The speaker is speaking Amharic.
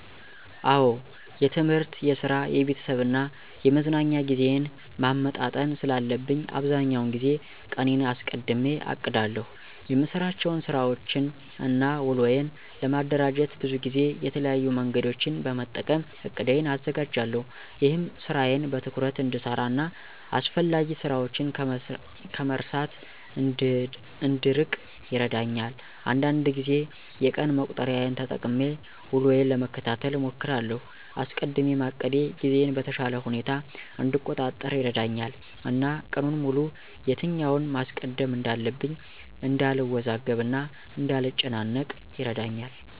አዎ የትምህርት፣ የስራ፣ የቤተሰብ እና የመዝናኛ ጊዜዬን ማመጣጠን ስላለብኝ አብዛኛውን ጊዜ ቀኔን አስቀድሜ አቅዳለሁ። የምሰራቸውን ስራወችን እና ውሎዬን ለማደራጀት ብዙ ጊዜ የተለያዩ መንገዶችን በመጠቀም እቅዴን አዘጋጃለሁ። ይህም ስራዬን በትኩረት እንድሰራ እና አስፈላጊ ስራችን ከመርሳት እንድንርቅ ይረዳኛል። አንዳንድ ጊዜ የቀን መቁጠሪያን ተጠቅሜ ውሎዬን ለመከታተል እሞክራለሁ። አስቀድሜ ማቀዴ ጊዜዬን በተሻለ ሁኔታ እንድቆጣጠር ይረዳኛል እና ቀኑን ሙሉ የትኛውን ማስቀደም እንዳለብኝ እንዳልወዛገብ እና እንዳልጨናነቅ ይረዳኛል።